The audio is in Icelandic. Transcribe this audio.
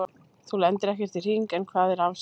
Þar lendir ekkert í hring, en hvað er rafsvið?